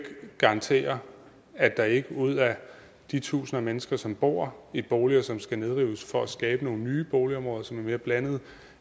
garantere at der ikke ud af de tusinder af mennesker som bor i boliger som skal nedrives for at skabe nogle nye boligområder som er mere blandede